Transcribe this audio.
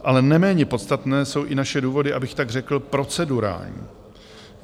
Ale neméně podstatné jsou i naše důvody, abych tak řekl, procedurální.